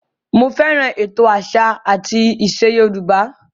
Mo fẹ́ràn ètò àṣà àti ìṣe Yorùbá